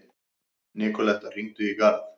Nikoletta, hringdu í Garð.